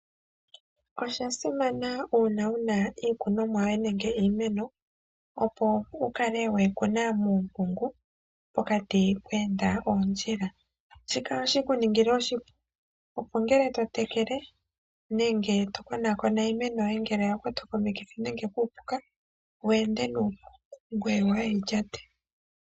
Osha simana uuna wuna iikunomwa yoye nenge iimeno, opo wukale weyi kuna muumpungu, pokati pwe enda oondjila. Ohashi kala shekuningila oshipu, opo ngele totekele, nenge tokonakona iimeno yoye ngele oya kwatwa komikithi nenge kuupuka, wu ende nuupu ngwe kaawuyi lyate.